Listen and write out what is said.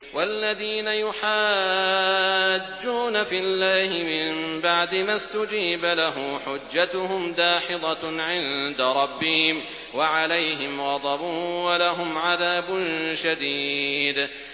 وَالَّذِينَ يُحَاجُّونَ فِي اللَّهِ مِن بَعْدِ مَا اسْتُجِيبَ لَهُ حُجَّتُهُمْ دَاحِضَةٌ عِندَ رَبِّهِمْ وَعَلَيْهِمْ غَضَبٌ وَلَهُمْ عَذَابٌ شَدِيدٌ